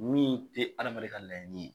Min tɛ adamaden ka laɲini ye.